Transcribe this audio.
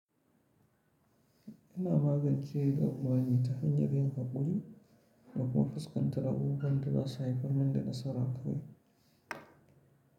Ina magance damuwa ne ta hanyar yin hakuri da kuma fuskantar abubuwan da za su haifar min da nasara kawai.